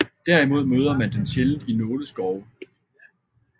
Derimod møder man den sjældent i nåleskove